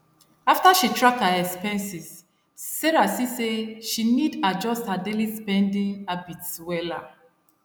after she track her expenses sarah see say she need adjust her daily spending habits wella